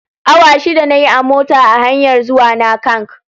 Awa shida na yi a mota a hanyar zuwana Kank